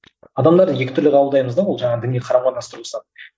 адамдарды екі түрлі қабылдаймыз да ол жаңағы діни тұрғысынан